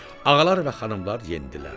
Ağalar və xanımlar endilər.